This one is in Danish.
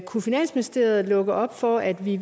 kunne finansministeriet lukke op for at vi